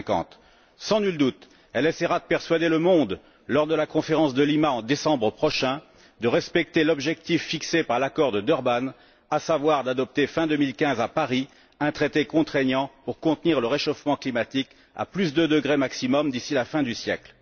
2050. Sans nul doute, elle essaiera de persuader le monde, lors de la conférence de Lima en décembre prochain, de respecter l'objectif fixé par l'accord de Durban, à savoir l'adoption, fin 2015 à Paris, d'un traité contraignant pour contenir le réchauffement climatique à deux degrés maximum d'ici la fin du siècle.